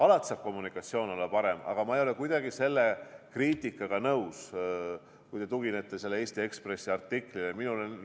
Alati saab kommunikatsioon olla parem, aga ma ei ole kuidagi selle kriitikaga nõus, kui te tuginete sellele Eesti Ekspressi artiklile.